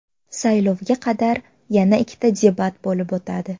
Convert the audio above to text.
Saylovga qadar yana ikkita debat bo‘lib o‘tadi.